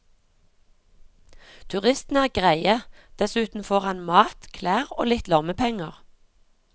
Turistene er greie, dessuten får han mat, klær og litt lommepenger.